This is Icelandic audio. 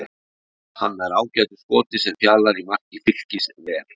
Hann nær ágætu skoti sem Fjalar í marki Fylkis ver.